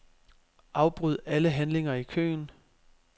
Afbryd alle handlinger i køen.